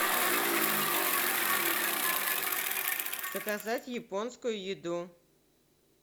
заказать японскую еду